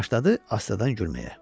və başladı asta-dan gülməyə.